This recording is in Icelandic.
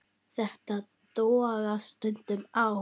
Þetta togast stundum á.